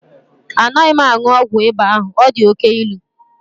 Anaghị m aṅụ ọgwụ ịba ahụ, ọ dị oke ilu.